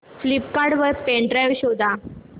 Flipkart वर pen drive शोधा